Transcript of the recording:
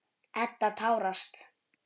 Edda tárast.